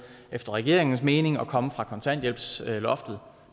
efter regeringens mening med at komme fra kontanthjælpsloftet